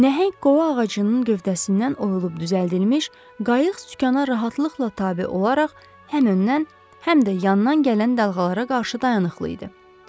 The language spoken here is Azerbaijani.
Nəhəng qovaq ağacının gövdəsindən oyulub düzəldilmiş qayıq sükana rahatlıqla tabe olaraq həm öndən, həm də yandan gələn dalğalara qarşı dayanıqlı idi.